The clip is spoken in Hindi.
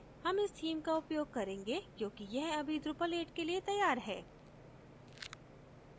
हम इस theme का उपयोग करेंगे क्योंकि यह अभी drupal 8 के लिए तैयार है